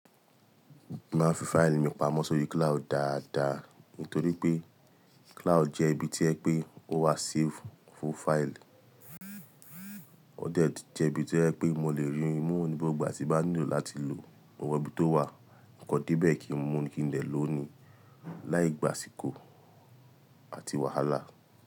Máa n fi fáìlì mi pamọ́ sórí cloud dáadáa. Nítorí pé cloud jẹ́ ibi tí o je pé ó wá save fún fáìlì. Ó de tun jẹ́ ibi tí o jẹ pé mo lè rí i mú ní gbogbo ìgbà tí n ba nílò láti lò ó mo mọ́ ibi tó wà. Kan de bẹ́ẹ̀ kí n mú ni kí n dè lò ó ni láì gbàṣìkọ̀ àti wàhálà.